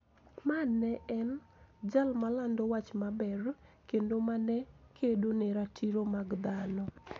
Ma ne en jal malando wach maber kendo ma ne kedo ne ratiro mag dhano,